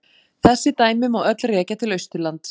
Þessi dæmi má öll rekja til Austurlands.